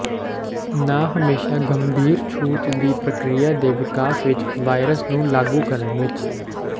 ਨਾ ਹਮੇਸ਼ਾ ਗੰਭੀਰ ਛੂਤ ਦੀ ਪ੍ਰਕਿਰਿਆ ਦੇ ਵਿਕਾਸ ਵਿੱਚ ਵਾਇਰਸ ਨੂੰ ਲਾਗੂ ਕਰਨ ਵਿੱਚ